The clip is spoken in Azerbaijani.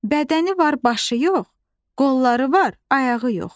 Bədəni var, başı yox, qolları var, ayağı yox.